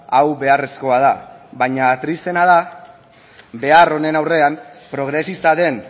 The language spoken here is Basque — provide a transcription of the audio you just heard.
hau beharrezkoa da baina tristeena da behar honen aurrean progresista den